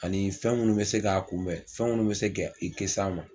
Ani fɛn munnu bɛ se k'a kunbɛn, ani fɛn munnu bɛ se ka i kisi a ma.